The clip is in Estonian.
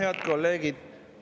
Head kolleegid!